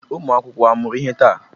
Ụmụ akwụkwọ amụrụ ihe taa?